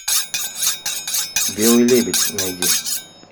белый лебедь найди